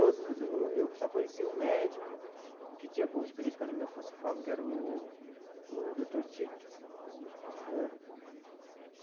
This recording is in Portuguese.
Eu só conheci um médico que tinha alguma experiência com anemia falciforme, que era o o doutor Tito né.